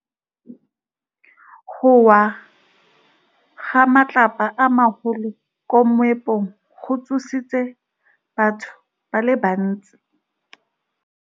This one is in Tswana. Go wa ga matlapa a magolo ko moepong go tshositse batho ba le bantsi.